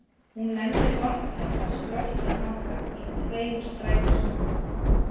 Hún nennir varla að skrölta þangað í tveim strætisvögnum.